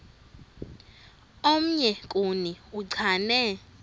omnye kuni uchane